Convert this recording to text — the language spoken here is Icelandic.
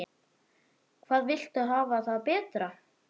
Hvað viltu hafa það betra?